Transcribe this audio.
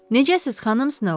Necəsiz, Xanım Snow?